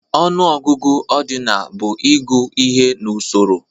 Ọnụọgụgụ ọdinal bụ ịgụ ihe n'usoro